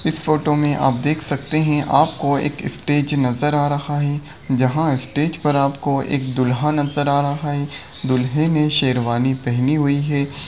इस फोटो में आप देख सकते हैं आपको एक स्टेज नजर आ रहा है जहां स्टेज पर आपको एक दुल्हन नजर आ रहा है दूल्हे ने शेरवानी पहनी हुई है।